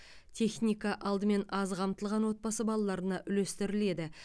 техника алдымен аз қамтылған отбасы балаларына үлестіріледі